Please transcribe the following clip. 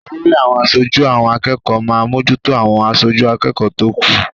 Olórí àwọn aṣojú àwọn akẹ́kọ̀ọ́ máa mójútó àwọn aṣojú akẹ́kọ̀ọ́ tó kù.